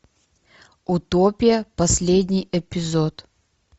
утопия последний эпизод